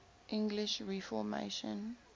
english reformation